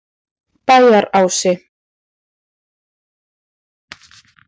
Bæjarási